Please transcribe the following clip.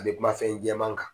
A bɛ kuma fɛn jɛman kan.